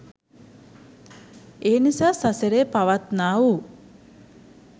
ඒනිසා සසරේ පවත්නා වූ